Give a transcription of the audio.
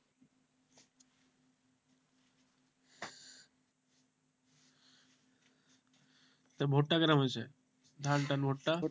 তো ভুট্টা কি রকম হয়েছে ধান টান ভুট্টা?